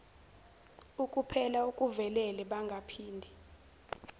ukupela okuvelele bangaphinde